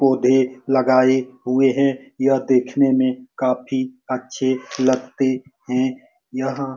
पौधे लगाए हुए हैं यह देखने में काफी अच्छे लगते हैं यह--